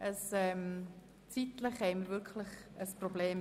Wir haben ein zeitliches Problem.